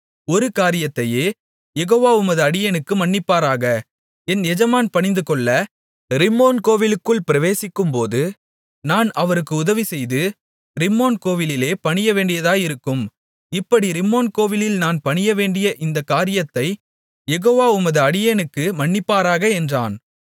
ஒரு காரியத்தையே யெகோவா உமது அடியேனுக்கு மன்னிப்பாராக என் எஜமான் பணிந்துகொள்ள ரிம்மோன் கோவிலுக்குள் பிரவேசிக்கும்போது நான் அவருக்கு உதவி செய்து ரிம்மோன் கோவிலிலே பணியவேண்டியதாயிருக்கும் இப்படி ரிம்மோன் கோவிலில் நான் பணியவேண்டிய இந்தக் காரியத்தைக் யெகோவா உமது அடியேனுக்கு மன்னிப்பாராக என்றான்